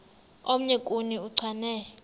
omnye kuni uchane